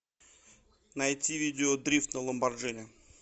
найти видео дрифт на ламборджини